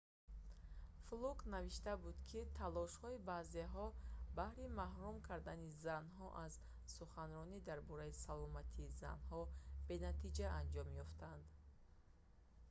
флук навишта буд ки талошҳои баъзеҳо баҳри маҳрум кардани занҳо аз суханронӣ дар бораи саломатии занҳо бенатиҷа анҷом ёфтанд